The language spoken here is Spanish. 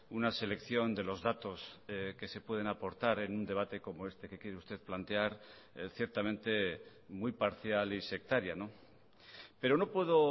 una selección de los datos que se pueden aportar en un debate como este que quiere usted plantear ciertamente muy parcial y sectaria pero no puedo